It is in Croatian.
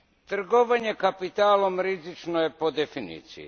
Trgovanje kapitalom rizično je po definiciji.